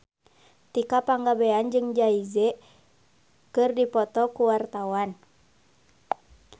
Tika Pangabean jeung Jay Z keur dipoto ku wartawan